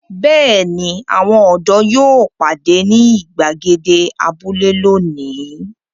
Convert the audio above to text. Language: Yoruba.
Bẹ́ẹ̀ ni, àwọn ọ̀dọ́ yóò pàdé ní ìgbàgede abúlé lónìí.